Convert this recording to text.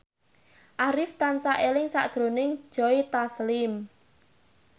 Arif tansah eling sakjroning Joe Taslim